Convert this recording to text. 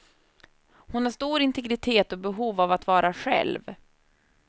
Hon har stor integritet och behov av att vara själv.